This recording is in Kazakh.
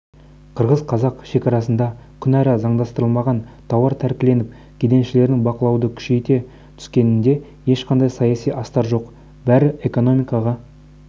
қазақ-қырғыз шекарасында күнара заңдастырылмаған тауар тәркіленіп кеденшілердің бақылауды күшейте түскенінде ешқандай саяси астар жоқ бәрі экономикаға